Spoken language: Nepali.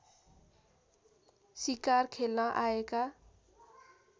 सिकार खेल्न आएका